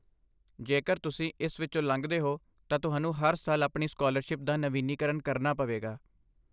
ਜੇਕਰ ਤੁਸੀਂ ਇਸ ਵਿੱਚੋਂ ਲੰਘਦੇ ਹੋ, ਤਾਂ ਤੁਹਾਨੂੰ ਹਰ ਸਾਲ ਆਪਣੀ ਸਕਾਲਰਸ਼ਿਪ ਦਾ ਨਵੀਨੀਕਰਨ ਕਰਨਾ ਪਵੇਗਾ।